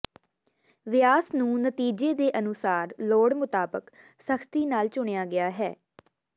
ਵਿਆਸ ਨੂੰ ਨਤੀਜੇ ਦੇ ਅਨੁਸਾਰ ਲੋੜ ਮੁਤਾਬਕ ਸਖਤੀ ਨਾਲ ਚੁਣਿਆ ਗਿਆ ਹੈ